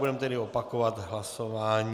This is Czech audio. Budeme tedy opakovat hlasování.